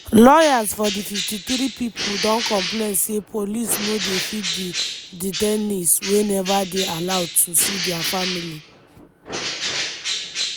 lawyers for di 53 pipo don complain say police no dey feed di detainees wey neva dey allowed to see dia families.